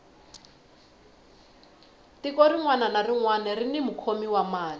tiko rinwani na rinwani rini mukhomi wa mali